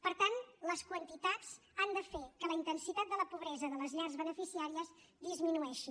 per tant les quantitats han de fer que la intensitat de la pobresa de les llars beneficiàries disminueixi